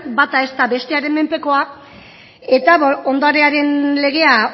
bata ez da bestearen menpekoa eta ondarearen legea